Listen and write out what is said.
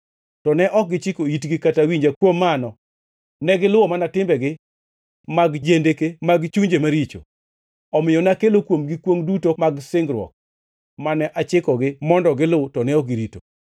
To ne ok gichiko itgi kata winja; kuom mano, negiluwo mana timbegi mag jendeke mag chunjegi maricho. Omiyo nakelo kuomgi kwongʼ duto mag singruok mane achikogi mondo gilu to ne ok girito.’ ”